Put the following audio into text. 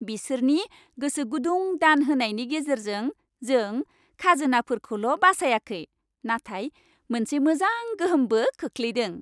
बिसोरनि गोसोगुदुं दान होनायनि गेजेरजों, जों खाजोनाफोरखौल' बासायाखै, नाथाय मोनसे मोजां गोहोमबो खोख्लैदों!